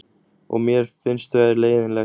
Og mér finnst þau leiðinleg.